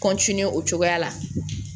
o cogoya la